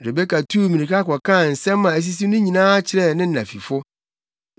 Rebeka tuu mmirika kɔkaa nsɛm a asisi no nyinaa kyerɛɛ ne na fifo.